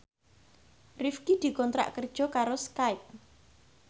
Rifqi dikontrak kerja karo Skype